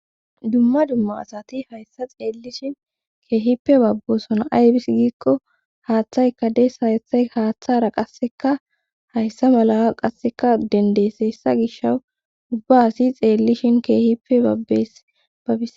dumma dumma asati hayssa xeellishin keehippe babboosona aybis giikko haaththayka dees haathay haaththara qasseka hayssa mala qasseka dendeesessa gisha ubba hasi xeellishin keehipe babbes babbis